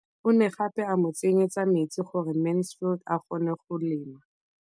O ne gape a mo tsenyetsa metsi gore Mansfield a kgone go lema.